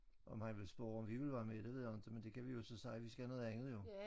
Om han vil spørge om vi vil være med det ved jeg inte men der kan vi jo så sige vi skal noget andet jo